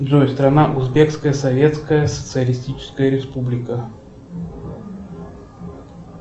джой страна узбекская советская социалистическая республика